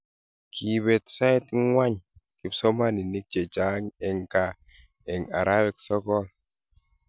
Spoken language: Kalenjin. Kiibet sait ng'wany kipsomaninik che chang' eng gaa eng' arawek sokol